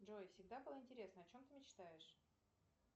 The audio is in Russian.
джой всегда было интересно о чем ты мечтаешь